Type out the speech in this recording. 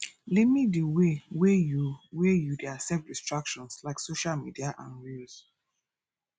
limit di way wey you wey you dey accept distractions like social media and reels